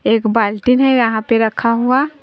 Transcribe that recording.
एक बाल्टिन है यहां पे रखा हुआ।